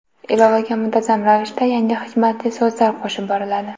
Ilovaga muntazam ravishda yangi hikmatli so‘zlar qo‘shib boriladi.